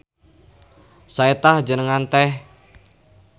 Sae tah jenengan teh.